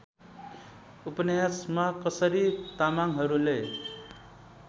उपन्यासमा कसरी तामाङहरूले